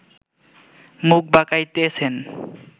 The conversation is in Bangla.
মুখ বাকাইতেছেন